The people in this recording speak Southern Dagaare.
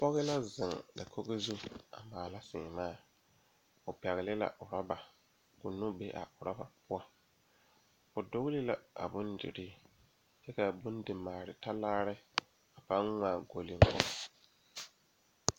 Pɔgeba ane bibiiri la ka bondire a kabɔɔti poɔ ka talaare be a be poɔ kaa kodo vaare meŋ be a be kaa bie kaŋa a iri gaŋe maale talaare.